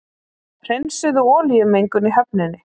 Hreinsuðu olíumengun í höfninni